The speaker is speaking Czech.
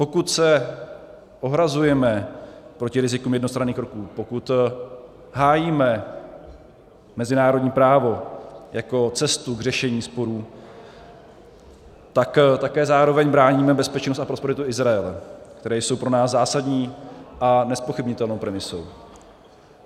Pokud se ohrazujeme proti rizikům jednostranných kroků, pokud hájíme mezinárodní právo jako cestu k řešení sporů, tak také zároveň bráníme bezpečnost a prosperitu Izraele, které jsou pro nás zásadní a nezpochybnitelnou premisou.